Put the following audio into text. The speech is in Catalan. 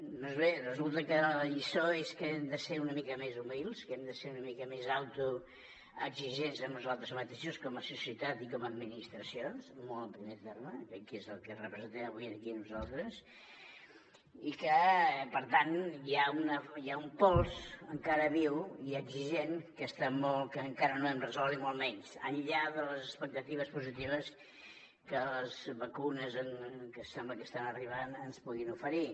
doncs bé resulta que la lliçó és que hem de ser una mica més humils que hem de ser una mica més autoexigents amb nosaltres mateixos com a societat i com a administració molt en primer terme que és el que representem avui aquí nosaltres i que per tant hi ha un pols encara viu i exigent que encara no hem resolt ni molt menys enllà de les expectatives positives que les vacunes que sembla que estan arribant ens puguin oferir